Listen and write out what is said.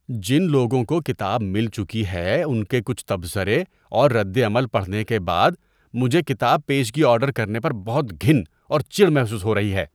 جن لوگوں کو کتاب مل چکی ہے ان کے کچھ تبصرے اور ردعمل پڑھنے کے بعد مجھے کتاب پیشگی آرڈر کرنے پر بہت گھن اور چڑ محسوس ہو رہی ہے۔